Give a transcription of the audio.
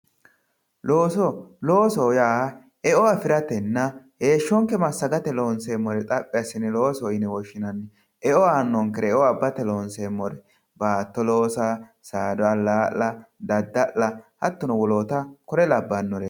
looso loosoho yaa e"o afiratenna heeshonke masagate lonseemore xaphi assine loosoho yine woshshinanni e"o aanonkere e"o abbate lonseemore baatto loosa, saada alaa'la, dadda'la hattono woloota kore labbanore.